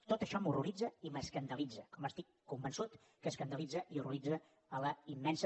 tot això m’horroritza i m’escandalitza com estic convençut que escandalitza i horroritza la immensa